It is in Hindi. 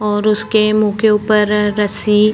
और उसके मुंह के ऊपर रस्सी--